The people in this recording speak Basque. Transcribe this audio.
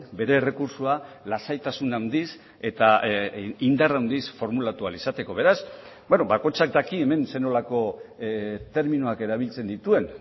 bere errekurtsoa lasaitasun handiz eta indar handiz formulatu ahal izateko beraz bakoitzak daki hemen zer nolako terminoak erabiltzen dituen